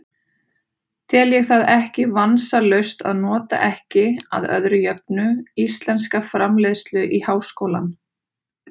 Tel ég það ekki vansalaust að nota ekki, að öðru jöfnu, íslenska framleiðslu í háskólann.